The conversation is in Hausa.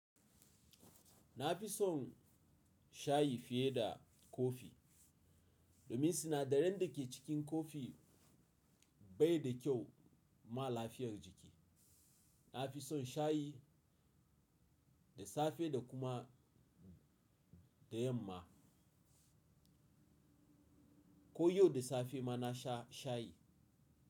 Na fi son shayi fiye da kofi domin sinadaran da ke cikin kofi bai da kyau ma lafiyar jiki. Na fi son shayi da safe da kuma da yamma. Ko yau da safe ma na sha shayi.